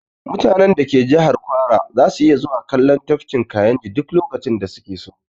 Mutanen da ke jihar kwara zasu iya zuwa kallon tafkin kayinji duk lokacin da su ke so